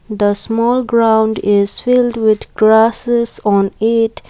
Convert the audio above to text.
the small ground is filled with grasses on it.